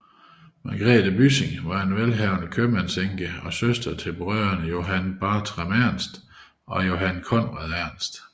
Magrethe Byssing var en velhavende købmandsenke og søster til brødrene Johan Bartram Ernst og Johan Conrad Ernst